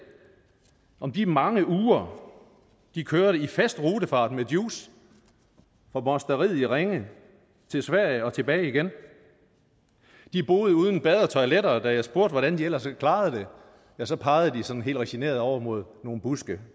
om de mange uger de kørte i fast rutefart med juice fra mosteriet i ringe til sverige og tilbage igen de boede uden bad og toiletter og da jeg spurgte hvordan de ellers klarede det ja så pegede de sådan helt resigneret over mod nogle buske